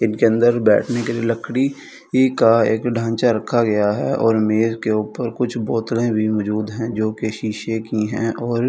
इनके अंदर बैठने के लिए लकड़ी का एक ढांचा रखा गया है और मेज के ऊपर कुछ बोतलें भी मजूद हैं जो कि शीशे की है और--